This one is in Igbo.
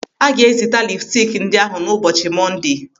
Aga ga-ezita lipstik ndị ahụ n'ụbọchị Mọndee.